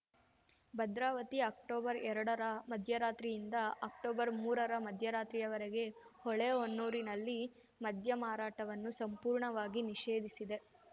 Bhadravati October ಎರಡರ ಮಧ್ಯರಾತ್ರಿಯಿಂದ October ಮೂರರ ಮಧ್ಯರಾತ್ರಿಯವರೆಗೆ ಹೊಳೆಹೊನ್ನೂರಿನಲ್ಲಿ ಮದ್ಯ ಮಾರಾಟವನ್ನು ಸಂಪೂರ್ಣವಾಗಿ ನಿಷೇಧಿಸಿದೆ